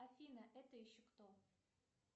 афина это еще кто